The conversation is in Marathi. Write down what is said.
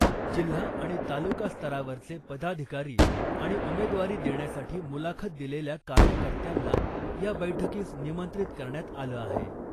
जिल्हा आणि तालुका स्तरावरचे पदाधिकारी आणि उमेदवारी देण्यासाठी मुलाखत दिलेल्या कार्यकर्त्यांना या बैठकीस निमंत्रित करण्यात आलं आहे .